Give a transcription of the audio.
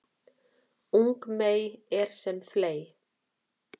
Ung mey er sem fley